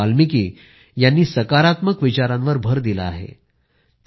महर्षी वाल्मिकी ह्यांनी सकारात्मक विचारांवर भर दिला आहे